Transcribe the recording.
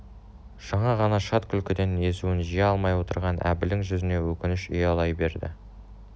жаңа ғана шат күлкіден езуін жия алмай отырған әбілдің жүзіне өкініш ұялай берді